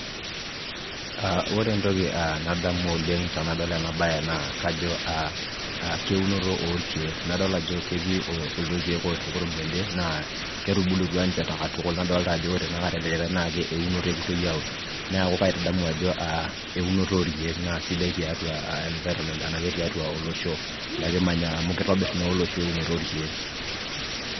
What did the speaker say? aa ore entoki nadmu oleng tenadol ena bae naa kajo keunoto oorkeek, nadol ajo ketii kuldo keek lotii kurum tede. naa ketubulutua ninche katuku. naa kadolta ajo ore ele likae naa eunoto epoitoi aaun. neeku kaitadamu ajo eunoto oorkeek. naa sidai tiatua environment ena ake tiatua olosho likimanya, amu kitobir naa olosho eunoto orkeek.